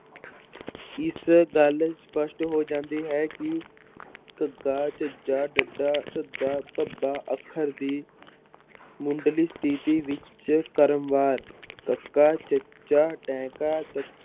ਇਸ ਗੱਲ ਸਪਸ਼ਟ ਹੋ ਜਾਂਦੀ ਹੈ ਕਿ ਘੱਗਾ, ਝੱਝਾ, ਡੱਡਾ, ਧੱਦਾ, ਭੱਬਾ ਅੱਖਰ ਦੀ ਮੁਢਲੀ ਸਥਿਤੀ ਵਿੱਚ ਕਰਮਵਾਰ ਕੱਕਾ, ਚੱਚਾ, ਟੈਂਕਾ ਤ~